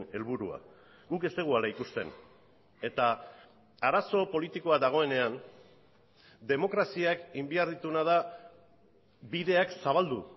helburua guk ez dugu hala ikusten eta arazo politikoa dagoenean demokraziak egin behar dituena da bideak zabaldu